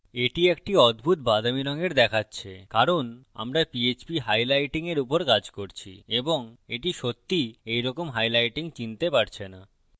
এটি একটি অদ্ভুত বাদামি রঙের দেখাচ্ছে কারণ আমরা পীএচপী হাইলাইটিং এর উপর কাজ করছি এবং এটি সত্যিই এইরকম হাইলাইটিং চিনতে পারছে না